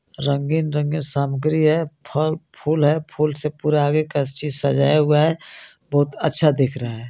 रंगीन रंगीन सामग्री है फल फूल है फूल से पूरा आगे का चीज सजाया हुआ है बहुत अच्छा दिख रहा है.